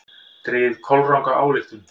Dregið kolranga ályktun!